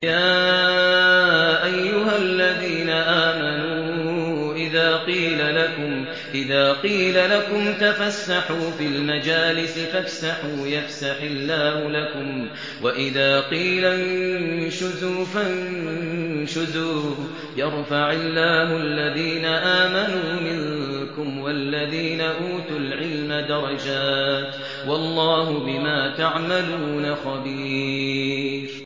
يَا أَيُّهَا الَّذِينَ آمَنُوا إِذَا قِيلَ لَكُمْ تَفَسَّحُوا فِي الْمَجَالِسِ فَافْسَحُوا يَفْسَحِ اللَّهُ لَكُمْ ۖ وَإِذَا قِيلَ انشُزُوا فَانشُزُوا يَرْفَعِ اللَّهُ الَّذِينَ آمَنُوا مِنكُمْ وَالَّذِينَ أُوتُوا الْعِلْمَ دَرَجَاتٍ ۚ وَاللَّهُ بِمَا تَعْمَلُونَ خَبِيرٌ